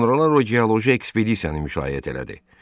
Sonralar o geoloji ekspedisiyanı müşayiət elədi.